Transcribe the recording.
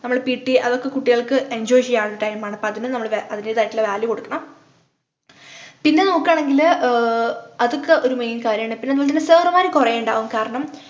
നമ്മള് pt അതൊക്കെ കുട്ടികൾക്ക് enjoy ചെയ്യാനുള്ള time ആണ് പ്പോ അതിനും നമ്മള് അതിൻ്റെതായിട്ടുള്ള value കൊടുക്കണം പിന്നെ നോക്കുകാണെങ്കില് ആഹ് അതൊക്കെ ഒരു main കാര്യമാണ്‌ പിന്നെന്നെങ്കിൽ sir മാര് കൊറേ ഇണ്ടാവും കാരണം